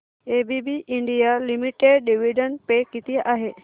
ABB India Limited dividend पे किती आहे